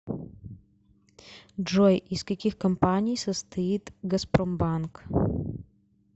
джой из каких компаний состоит газпромбанк